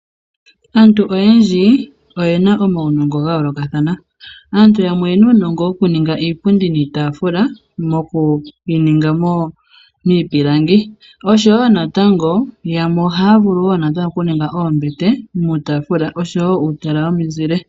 Aantu oyendji oyena omaunongo ga yoolokathana. Aantu yamwe oyena uunongo wo kuninga iipundi niitaafula noku yininga miipilangi. Osho wo natango yamwe ohaya vulu wo natango oku ninga oombete nuutaafula osho wo uutala wo mizile.